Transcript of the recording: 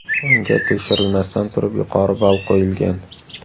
Unga tekshirilmasdan turib yuqori ball qo‘yilgan.